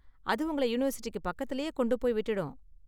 அது உங்களை யூனிவர்சிட்டிக்கு பக்கத்துலயே கொண்டு போய் விட்டுடும்.